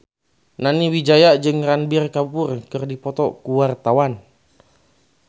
Nani Wijaya jeung Ranbir Kapoor keur dipoto ku wartawan